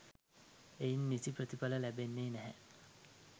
එයින් නිසි ප්‍රතිඵල ලැබෙන්නේ නැහැ.